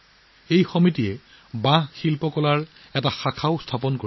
এই সমাজেও এটা বাংগু হস্তশিল্প ইউনিট স্থাপন কৰিছে